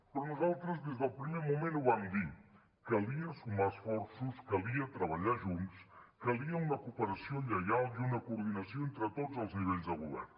però nosaltres des del primer moment ho vam dir calia sumar esforços calia treballar junts calia una cooperació lleial i una coordinació entre tots els nivells de govern